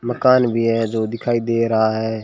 मकान भी है जो दिखाई दे रहा है।